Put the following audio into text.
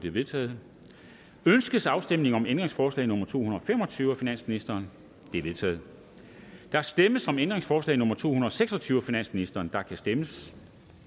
er vedtaget ønskes afstemning om ændringsforslag nummer to hundrede og fem og tyve af finansministeren det er vedtaget der stemmes om ændringsforslag nummer to hundrede og seks og tyve af finansministeren og der kan stemmes